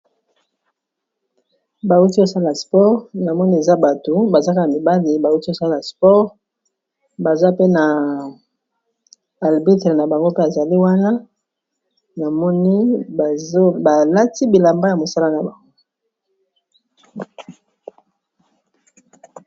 bauti osala spore na moni eza bato bazaka mibale bauti osala spore baza pe na albitre na bango ke ezali wana namoni balati bilamba ya mosala na bango